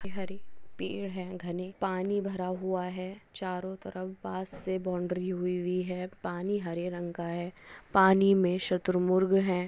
हरे पीड़ हे घने पानी भरा हुआ हे चारो तरफ बंशसे बाउन्ड्री हुई हुई हे पानी हरे रंग का हे पानी मे सतुरमुर्ग हे।